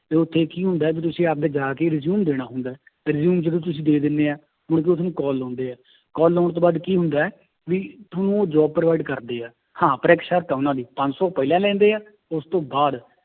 ਤੇ ਉੱਥੇ ਕੀ ਹੁੰਦਾ ਹੈ ਵੀ ਤੁਸੀਂ ਆਪਦੇ ਜਾ ਕੇ resume ਦੇਣਾ ਹੁੰਦਾ ਹੈ ਤੇ resume ਜਦੋਂ ਤੁਸੀਂ ਦੇ ਦਿੰਦੇ ਹੈ, ਮੁੜਕੇ ਉਹ ਤੁਹਾਨੂੰ call ਲਾਉਂਦੇ ਹੈ call ਲਾਉਣ ਤੋਂ ਬਾਅਦ ਕੀ ਹੁੰਦਾ ਹੈ ਵੀ ਤੁਹਾਨੂੰ ਉਹ job provide ਕਰਦੇ ਹੈ, ਹਾਂ ਪਰ ਇੱਕ ਸ਼ਰਤ ਹੈ ਉਹਨਾਂ ਦੀ ਪੰਜ ਸੌ ਪਹਿਲਾਂ ਲੈਂਦੇ ਹੈ ਉਸ ਤੋਂ ਬਾਅਦ